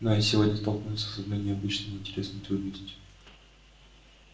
но я сегодня столкнулся с одной необычной и интересной трудностью